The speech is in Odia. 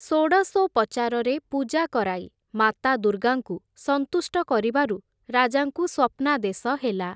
ଷୋଡ଼ଶୋପଚାରରେ ପୂଜା କରାଇ ମାତା ଦୁର୍ଗାଙ୍କୁ ସନ୍ତୁଷ୍ଟ କରିବାରୁ ରାଜାଙ୍କୁ ସ୍ଵପ୍ନାଦେଶ ହେଲା ।